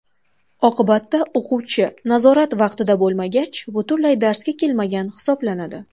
Oqibatda, o‘quvchi nazorat vaqtida bo‘lmagach, butunlay darsga kelmagan hisoblanadi.